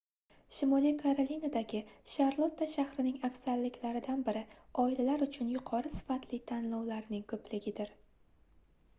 shimoliy karolinadagi sharlotta shahrining afzalliklaridan biri oilalar uchun yuqori sifatli tanlovlarning koʻpligidir